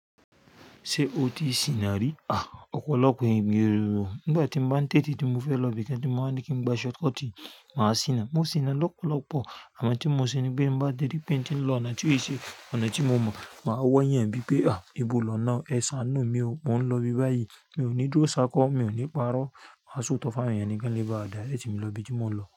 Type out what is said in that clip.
Ṣé o ti sìnà rí? Ah! Ọ̀pọ̀lọpọ̀ ènìyàn rí i. Nígbà tí mo bá ń tẹrè tí mo fẹ́ lọ ibìkan tí mo máa ní kí ń gba shortcut, màá sìnà. Mo sìnà lọ́pọ̀lọpọ̀. Àmọ́ tí mo ṣe ni pé bá dẹ́rí pín tín lọ ọ̀nà tí ó ṣe, ọ̀nà tí mo mọ̀, màá wọ̀ yẹ̀n bíi pé ah! Ibo lọ̀nà? Ẹ sáánú mi o, mò ń lọ ibi báyìí. Mi ò ní dúró sákọ́, mi ò ní parọ́. Màá sọ òótọ́ fún àwọn èèyàn kán le baà direct mi lọ ibi tí mò ń lọ.